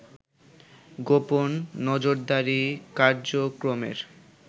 গোপন নজরদারী কার্যক্রমের